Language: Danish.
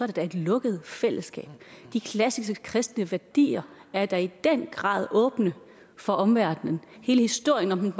det da et lukket fællesskab de klassiske kristne værdier er da i den grad åbne for omverdenen hele historien om